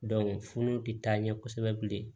tɛ taa ɲɛ kosɛbɛ bilen